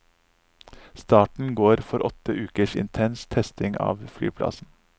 Starten går for åtte ukers intens testing av flyplassen.